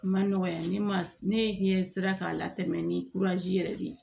Ma nɔgɔ ya ne ma ne ɲɛ sera k'a latɛmɛ ni yɛrɛ de ye